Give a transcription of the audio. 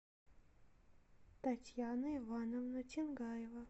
татьяна ивановна чангаева